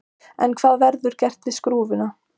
En hvað verður gert við skrúfuna?